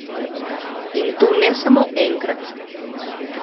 In to ne samo enkrat.